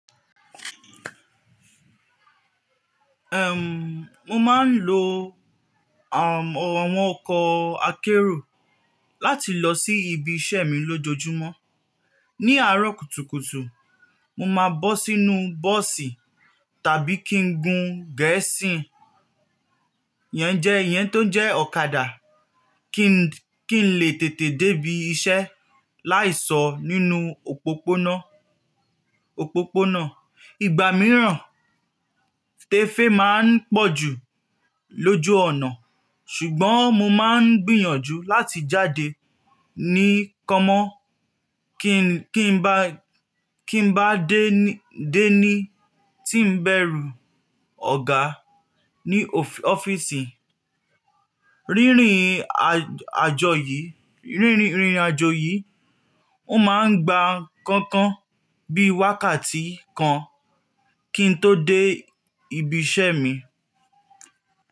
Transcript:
Ehn, mo máa ń lo àwọn ọkọ̀ akérò láti lọ sí ibi iṣẹ́ mi lójoojúmọ́. Ni aarọ kùtùkùtù, mo máa bọ́ sínú bọ́ọ́sì tàbí kí n gun gẹ́ẹ́sìn yẹn jẹ iyẹn tó jẹ́ ọ̀kadà kí n lè tètè dé ibi iṣẹ́ láì sọ nínú òpópónà òpópónà. Ìgbà mìíràn, tẹ́fẹ́ máa ń pọ̀ jù lójú ọ̀nà ṣùgbọ́n mo máa ń gbìyànjú láti jáde ní kámọ́ kí kí n bá dé ní tí ń bẹ̀rù ọ̀gá ní o ọ́fíìsì. Rírìn àjò yìí, ó máa ń gba kankan bí wákàtí kan kí n tó dé ibi iṣẹ́ mi.